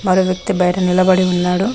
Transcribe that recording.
ఆడ ఓ వ్యక్తి బయట నిలబడి ఉన్నాడు.